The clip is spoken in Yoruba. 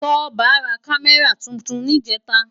Toba rá Kàmèrá tútún nijètá